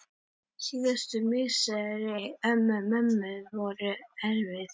Síðustu misseri mömmu voru erfið.